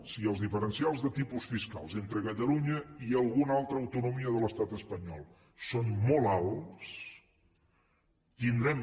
si els diferencials de tipus fiscal entre catalunya i alguna altra autonomia de l’estat espanyol són molt alts tindrem